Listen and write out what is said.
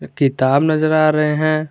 एक किताब नज़र आ रहे हैं।